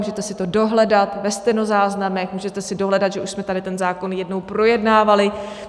Můžete si to dohledat ve stenozáznamech, můžete si dohledat, že už jsme tady ten zákon jednou projednávali.